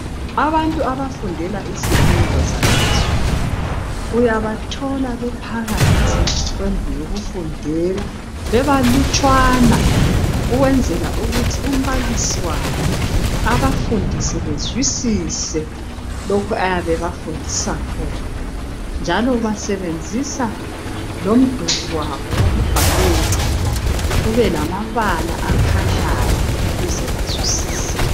Abantu abafundela izifundo zaphezulu uyabathola bephakathi kwendlu yokufundela bebalutshwana ukwenzela ukuthi umbalisi wabo ebafundise bazwisise lokhu ayabe ebafundisa khona njalo basebenzisa lomduli wabo wokubhalela ube lamabala akhanyayo ukuze bazwisise.